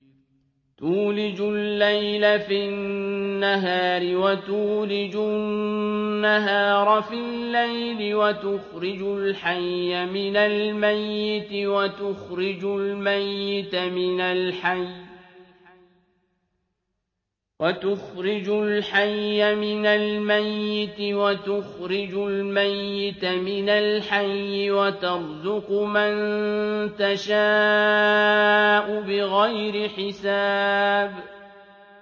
تُولِجُ اللَّيْلَ فِي النَّهَارِ وَتُولِجُ النَّهَارَ فِي اللَّيْلِ ۖ وَتُخْرِجُ الْحَيَّ مِنَ الْمَيِّتِ وَتُخْرِجُ الْمَيِّتَ مِنَ الْحَيِّ ۖ وَتَرْزُقُ مَن تَشَاءُ بِغَيْرِ حِسَابٍ